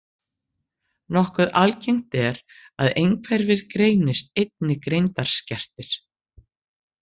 Nokkuð algengt er að einhverfir greinist einnig greindarskertir.